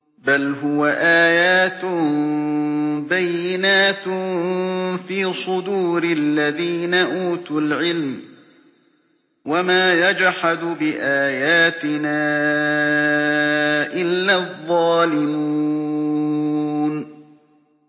بَلْ هُوَ آيَاتٌ بَيِّنَاتٌ فِي صُدُورِ الَّذِينَ أُوتُوا الْعِلْمَ ۚ وَمَا يَجْحَدُ بِآيَاتِنَا إِلَّا الظَّالِمُونَ